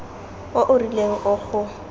o o rileng o go